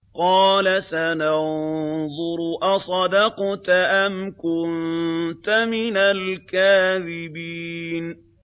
۞ قَالَ سَنَنظُرُ أَصَدَقْتَ أَمْ كُنتَ مِنَ الْكَاذِبِينَ